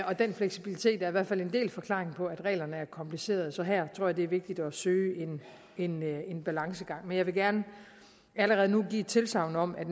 og den fleksibilitet er i hvert fald en del af forklaringen på at reglerne er komplicerede så her tror jeg at det er vigtigt at søge en en balancegang men jeg vil gerne allerede nu give tilsagn om at